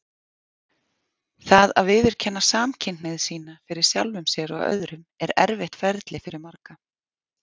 Það að viðurkenna samkynhneigð sína fyrir sjálfum sér og öðrum er erfitt ferli fyrir marga.